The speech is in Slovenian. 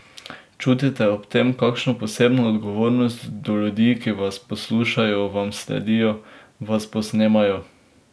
Čutite ob tem kakšno posebno odgovornost do ljudi, ki vas poslušajo, vam sledijo, vas posnemajo?